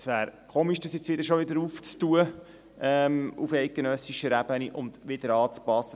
Es wäre komisch, dies jetzt auf eidgenössischer Ebene schon wieder aufzumachen und wieder anzupassen.